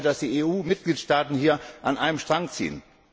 Ich hoffe, dass die EU Mitgliedstaaten hier an einem Strang ziehen.